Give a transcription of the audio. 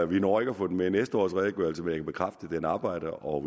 vi når ikke at få den med i næste års redegørelse men jeg kan bekræfte at den er oprettet og